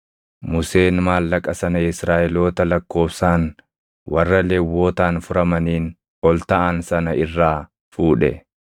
Museen maallaqa sana Israaʼeloota lakkoobsaan warra Lewwotaan furamaniin ol taʼan sana irraa fuudhe.